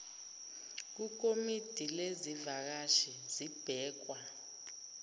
kukomidi lezivakashi zibhekwa